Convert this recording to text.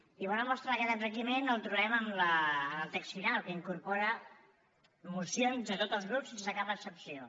i bona mostra d’aquest enriquiment el trobarem en el text final que incorpora mocions de tots els grups sense cap excepció